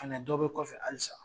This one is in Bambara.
Fɛnɛ dɔ be kɔfɛ halisa